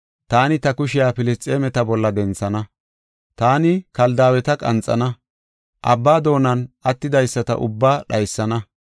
taani ta kushiya Filisxeemeta bolla denthana. Taani Keltaaweta qanxana; abba doonan attidaysata ubbaa dhaysana.